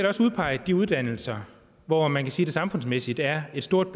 også udpeget de uddannelser hvor man kan sige at der samfundsmæssigt er et stort